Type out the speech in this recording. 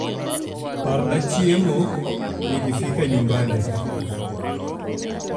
parna chiemo nikifika nyumbani